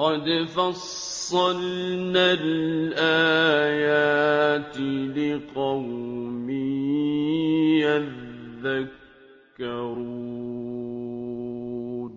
قَدْ فَصَّلْنَا الْآيَاتِ لِقَوْمٍ يَذَّكَّرُونَ